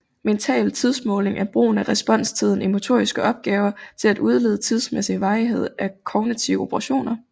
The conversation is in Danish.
Mental tidsmåling er brugen af responstiden i motoriske opgaver til at udlede tidsmæssig varighed af kognitive operationer